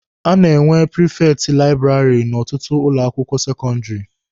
A na-enwe prifekti laịbụrarị n'ọtụtụ ụlọ akwụkwọ sekọndịrị.